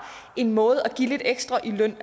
en måde at give lidt ekstra løn